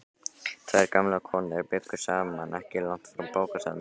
Tvær gamlar konur bjuggu saman ekki langt frá bókasafninu.